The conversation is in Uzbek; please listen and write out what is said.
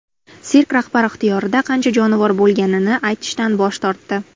Sirk rahbari ixtiyorida qancha jonivor bo‘lganini aytishdan bosh tortdi.